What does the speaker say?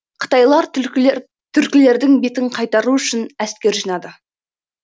қытайлар түркілердің бетін қайтару үшін әскер жинады